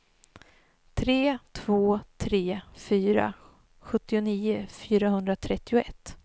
tre två tre fyra sjuttionio fyrahundratrettioett